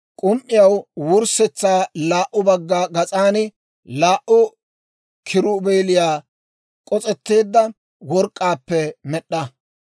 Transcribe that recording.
K'um"iyaw wurssetsaa laa"u bagga gas'an laa"u kiruubeeliyaa, k'os'etteedda work'k'aappe med'd'a.